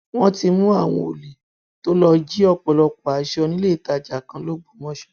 wọn ti mú àwọn olè tó lọọ jí ọpọlọpọ aṣọ níléetajà kan lọgbọmọso